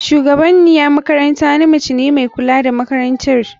Shugabaniyan makaranta namce ne mai kula da makarantar.